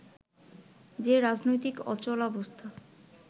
যে রাজনৈতিক অচলাবস্থা